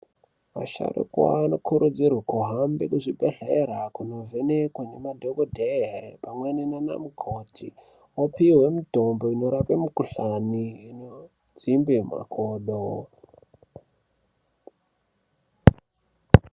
Vasharukwa vanokurudzirwe kuhambe kuzvibhedhlera kundovhenekwa ngemadhokodheya pamweni naana mukoti, opihwe mutombo inorape mukhuhlani inodzimbe makodo.